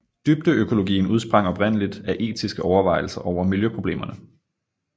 Dybdeøkologien udsprang oprindeligt af etiske overvejelser over miljøproblemerne